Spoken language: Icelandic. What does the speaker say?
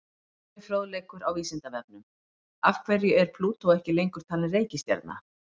Frekari fróðleikur á Vísindavefnum: Af hverju er Plútó ekki lengur talin reikistjarna?